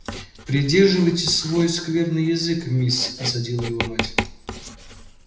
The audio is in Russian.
придерживайте свой скверный язык мисс осадила её мать